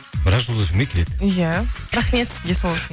бірақ жұлдыз эф эм ге келеді иә рахмет сізге сол үшін